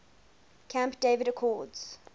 camp david accords